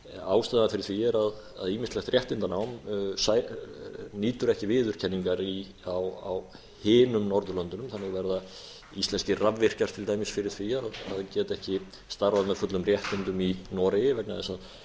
ástæða fyrir því er að ýmislegt réttindanám nýtur ekki viðurkenningar á hinum norðurlöndunum þannig verða íslenskir rafvirkjar til dæmis fyrir því að geta ekki starfað með fullum réttindum í noregi vegna þess að